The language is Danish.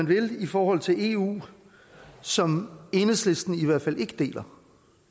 vil i forhold til eu som enhedslisten i hvert fald ikke deler